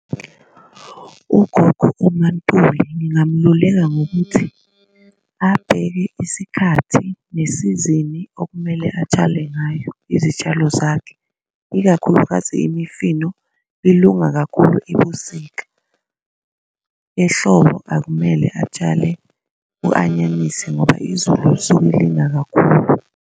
Ugogo uMaNtuli ngingamluleka ngokuthi abheke isikhathi nesizini okumele atshale ngayo izitshalo zakhe ikakhulukazi imifino, ilunga kakhulu ebusika. Ehlobo akumele atshale u-anyanisi ngoba izulu lisuke lina kakhulu.